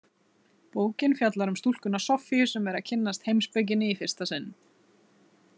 Bókin fjallar um stúlkuna Soffíu sem er að kynnast heimspekinni í fyrsta sinn.